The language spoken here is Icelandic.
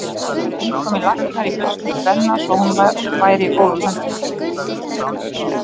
Þetta væru eintómir læknar í fjölskyldu Benna svo hún væri í góðum höndum.